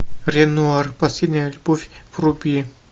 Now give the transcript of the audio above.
ренуар последняя любовь вруби